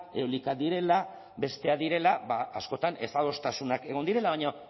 eolikak direla besteak direla ba askotan ezadostasunak egon direla baina